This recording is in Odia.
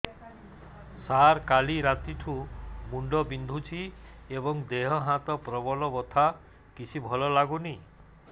ସାର କାଲି ରାତିଠୁ ମୁଣ୍ଡ ବିନ୍ଧୁଛି ଏବଂ ଦେହ ହାତ ପ୍ରବଳ ବଥା କିଛି ଭଲ ଲାଗୁନି